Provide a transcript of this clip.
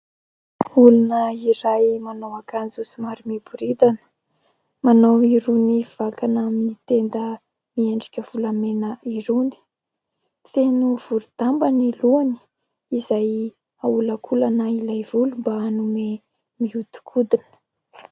Olona iray : manao akanjo somary miboridana, manao irony vakana amin'ny tenda miendrika volamena irony, feno vori-damba ny lohany izay aholakolana ilay volo mba hanome mihodinkodina.